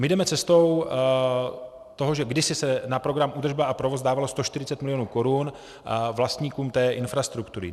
My jdeme cestou toho, že kdysi se na program údržba a provoz dávalo 140 mil. korun vlastníkům té infrastruktury.